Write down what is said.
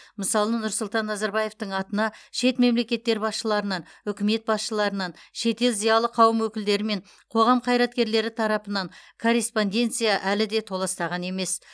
мысалы нұрсұлтан назарбаевтың атына шет мемлекеттер басшыларынан үкімет басшыларынан шетел зиялы қауымы өкілдері мен қоғам қайраткерлері тарапынан корреспонденция әлі де толастаған емес